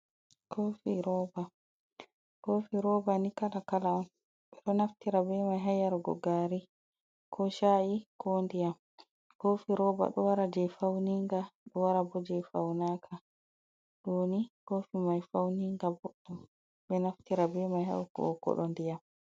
Koofi rooba, koofi rooba ni kala kala on, ɓe ɗo naftira be mai ha yarugo gari, ko sha’i, ko ndiyam. Koofi rooba ɗo wara je fauninga ɗo wara bo jei faunaka. Ɗooni koofi mai fauninga boɗɗum ɓe naftira be mai ha hokkugo kooɗo ndiyam.